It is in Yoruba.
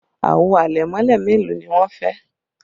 Àwo àlẹ̀mọ́lẹ̀ mélòó ni wọn fẹ́?